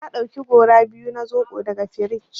Na ɗauki gora biyu na zoɓo daga frij.